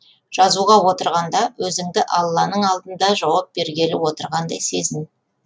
жазуға отырғанда өзіңді алланың алдында жауап бергелі отырғандай сезін